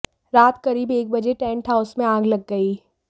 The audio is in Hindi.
रात करीब एक बजे टेन्ट हाउस में आग लग गई